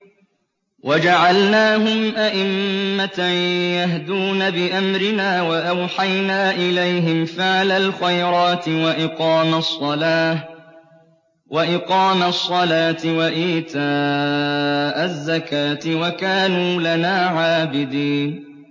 وَجَعَلْنَاهُمْ أَئِمَّةً يَهْدُونَ بِأَمْرِنَا وَأَوْحَيْنَا إِلَيْهِمْ فِعْلَ الْخَيْرَاتِ وَإِقَامَ الصَّلَاةِ وَإِيتَاءَ الزَّكَاةِ ۖ وَكَانُوا لَنَا عَابِدِينَ